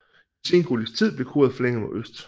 I sengotisk tid blev koret forlænget mod øst